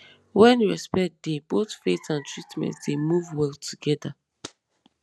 when respect dey both faith and treatment dey move well together